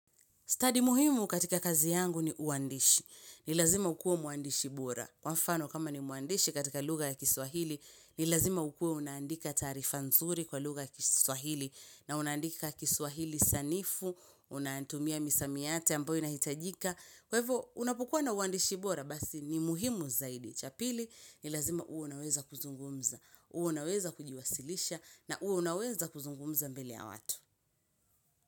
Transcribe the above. Study muhimu katika kazi yangu ni uandishi. Ni lazima ukuwe mwandishi bora. Kwa mfano kama ni mwandishi katika lugha ya kiswahili, nilazima ukwe unaandika taarifa nzuri kwa lugha ya kiswahili. Na unaandika kiswahili sanifu, unatumia misamiati ambayo inahitajika. Kw hivyo, unapokuwa na uandishi bora, basi ni muhimu zaidi. Cha pili, ni lazima uwe unaweza kuzungumza. Uwe unaweza kujiwasilisha na uwe unaweza kuzungumza mbele ya watu.